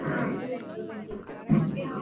ಹಾ Full enjoyment ಇತ್ತು.